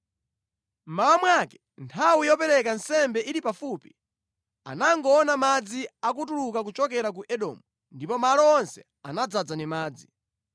Mmawa mwake, nthawi yopereka nsembe ili pafupi, anangoona madzi akutuluka kuchokera ku Edomu, ndipo malo onse anadzaza ndi madzi.